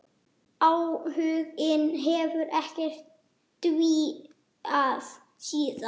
Áhuginn hefur ekkert dvínað síðan.